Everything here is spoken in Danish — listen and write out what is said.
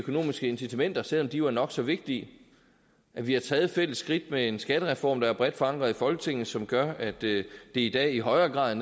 økonomiske incitamenter selv om de jo er nok så vigtige hvor vi har taget et fælles skridt med en skattereform der er bredt forankret i folketinget og som gør at det i dag i højere grad